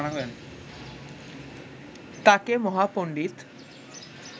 তাকে মহাপন্ডিত